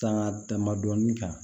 Taa dama dɔɔnin kan